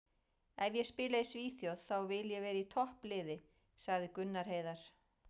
Ef ég spila í Svíþjóð þá vil ég vera í toppliði, sagði Gunnar Heiðar.